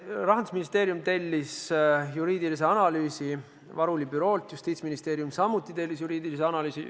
Rahandusministeerium tellis juriidilise analüüsi Varuli büroolt, ka Justiitsministeerium tellis juriidilise analüüsi.